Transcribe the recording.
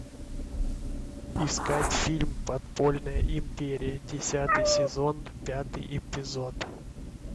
искать фильм подпольная империя десятый сезон пятый эпизод